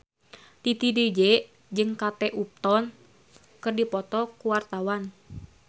Titi DJ jeung Kate Upton keur dipoto ku wartawan